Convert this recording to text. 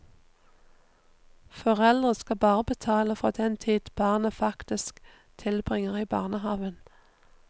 Foreldre skal bare betale for den tid barnet faktisk tilbringer i barnehaven.